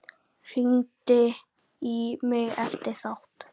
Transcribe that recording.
Hringdi í mig eftir þátt.